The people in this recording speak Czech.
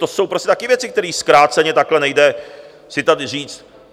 To jsou prostě také věci, které zkráceně takhle nejde si tady říct.